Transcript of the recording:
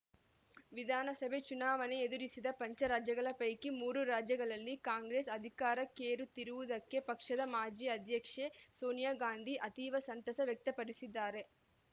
ವಿಧಾನಸಭೆ ಚುನಾವಣೆ ಎದುರಿಸಿದ ಪಂಚರಾಜ್ಯಗಳ ಪೈಕಿ ಮೂರು ರಾಜ್ಯಗಳಲ್ಲಿ ಕಾಂಗ್ರೆಸ್‌ ಅಧಿಕಾರಕ್ಕೇರುತ್ತಿರುವುದಕ್ಕೆ ಪಕ್ಷದ ಮಾಜಿ ಅಧ್ಯಕ್ಷೆ ಸೋನಿಯಾ ಗಾಂಧಿ ಅತೀವ ಸಂತಸ ವ್ಯಕ್ತಪಡಿಸಿದ್ದಾರೆ